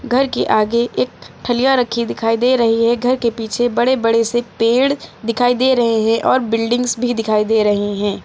घर के आगे एक थालिया रखी दिखाई दे रही है घर के पीछे बड़े बड़े से पेड़ दिखाई दे रहे हैं और बिल्डिंग्स भी दिखाई दे रही हैं।